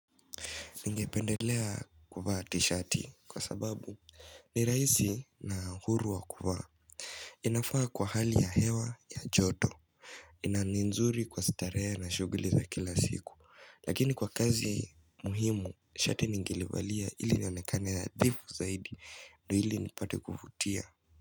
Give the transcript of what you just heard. Ningependelea kuvaa t-shati kwa sababu ni rahisi na huru wa kuvaa inafaa kwa hali ya hewa ya joto na ni nzuri kwa starehe na shughuli za kila siku. Lakini kwa kazi muhimu, shati ningelivalia ili nionekane hadhifu zaidi ndio ili nipate kuvutia.